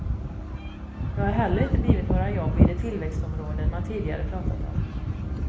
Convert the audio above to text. Det har heller inte blivit några jobb i de tillväxtområden man tidigare pratat om.